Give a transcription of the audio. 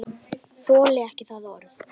Þoldi ekki það orð.